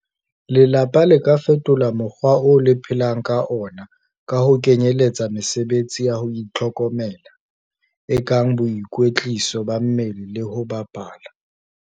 Lelapa le ka fetola mokgwa oo le phelang ka ona ka ho kenyeletsa mesebetsi ya ho itlhokomela, e kang boikwetliso ba mmele le ho bapala.